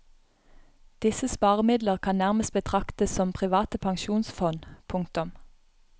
Disse sparemidler kan nærmest betraktes som private pensjonsfond. punktum